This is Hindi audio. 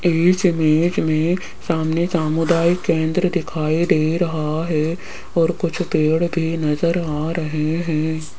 इस इमेज में सामने सामुदायिक केंद्र दिखाई दे रहा है और कुछ पेड़ भी नजर आ रहे हैं।